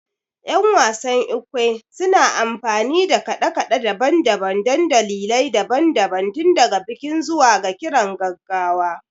Yan wasan Ekwe suna amfani da kade-kade daban-daban don dalilai daban-daban, tun daga bikin zuwa ga kiran gaggawa